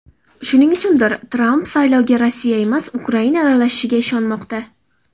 Shuning uchundir, Tramp saylovga Rossiya emas, Ukraina aralashganiga ishonmoqda.